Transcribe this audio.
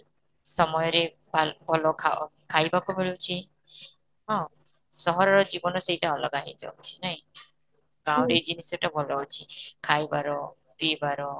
ସମୟ ରେ ଭଲ ଖାଉଛ, ଖାଇବାକୁ ମିଳୁଛି, ହଁ, ସହରର ଜୀବନଟା ସେଇଟା ଅଲଗା ହେଇଯାଉଛି ନାଇଁ, ରେ ଜିନିଷଟା ଭଲ ଅଛି ଖାଇବାର ପୀବାର